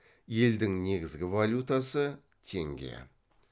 елдің негізгі валютасы теңге